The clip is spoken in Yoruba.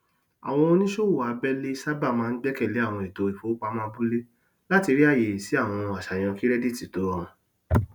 àwọn oníṣòwò abẹẹlé sábà máa ń gbẹkẹlé àwọn ètò ìfowópamọ abúlé láti rí ààyè sí àwọn aṣàyàn kirẹdìtì tó rọrùn